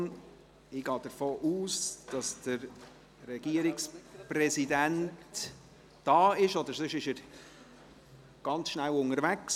Ich gehe davon aus, dass der Regierungspräsident da ist, oder sonst ist er ganz schnell unterwegs.